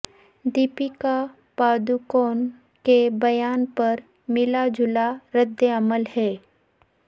دیپکا پاڈوکون کے بیان پر ملا جلا رد عمل ہے